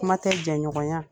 Kuma tɛ jɛnɲɔgɔnya